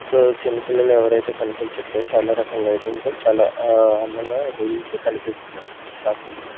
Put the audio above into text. So చిన్నపిల్లలు ఎవరైతే కనిపించట్లేదు చాలా రకాల లైటింగ్ తో చాలా ఆ అందంగా అదితే కనిపిస్తుందండి మనకి షాపింగ్ మాల్ .